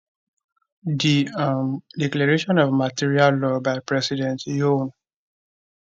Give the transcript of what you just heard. di um declaration of martial law by president yoon